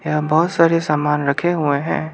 यहां बहुत सारे सामान रखे हुए हैं।